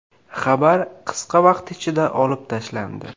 Xabar qisqa vaqt ichida olib tashlandi.